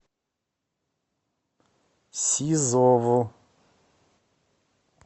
сизову